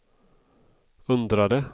undrade